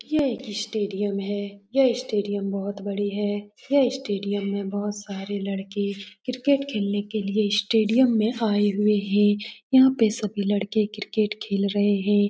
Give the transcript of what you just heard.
यह एक स्टेडियम है यह स्टेडियम बहोत बड़ी है यह स्टेडियम बहोत सारे लड़के क्रिकेट खेलने के लिए स्टेडियम में आये हुए हैं यहाँ पे सभी लड़के क्रिकेट खेल रहे हैं ।